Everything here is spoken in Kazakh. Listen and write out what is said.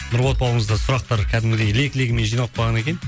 нұрболат бауырымызда сұрақтар кәдімгідей лек легімен жиналып қалған екен